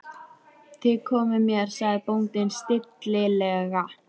Þið komið með mér, sagði bóndinn stillilega.